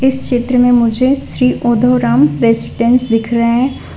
इस चित्र मे मुझे श्री उद्धवराम रेसिडेंस दिख रहा है।